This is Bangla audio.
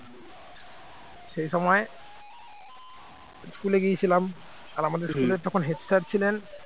সেই সময় school গিয়েছিলাম আর আমাদের school র তখন head sir ছিলেন